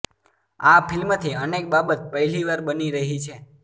આ ફિલ્મથી અનેક બાબત પહેલી વાર બની રહી છે